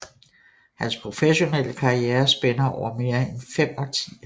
Hans professionelle karriere spænder over mere end fem årtier